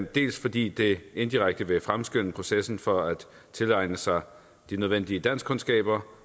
dels fordi det indirekte vil fremskynde processen for at tilegne sig de nødvendige danskkundskaber